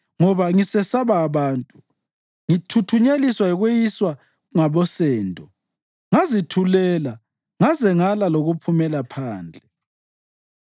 ngoba ngisesaba abantu ngithuthunyeliswa yikweyiswa ngabosendo ngazithulela ngaze ngala lokuphumela phandle.